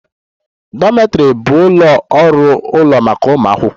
Dormitories bụ ụlọ ọrụ ụlọ maka ụmụ akwụkwọ